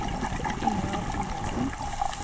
Yngvar Endresen